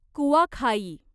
Kuakhai